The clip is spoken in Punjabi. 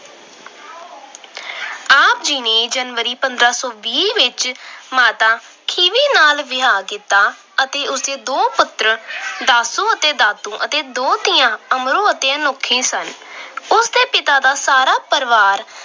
ਆਪ ਜੀ ਨੇ ਜਨਵਰੀ, ਪੰਦਰਾਂ ਸੌ ਵੀਹ ਵਿੱਚ ਮਾਤਾ ਖੀਵੀ ਨਾਲ ਵਿਆਹ ਕੀਤਾ ਅਤੇ ਉਸਦੇ ਦੋ ਪੁੱਤਰ ਦਾਸੂ ਅਤੇ ਦਾਤੂ ਅਤੇ ਦੋ ਧੀਆਂ ਅਮਰੋ ਅਤੇ ਅਨੋਖੀ ਸਨ। ਉਸਦੇ ਪਿਤਾ ਦਾ ਸਾਰਾ ਪਰਿਵਾਰ